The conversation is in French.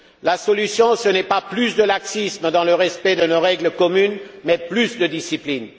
La solution, ce n'est pas plus de laxisme dans le respect de nos règles communes, mais plus de discipline.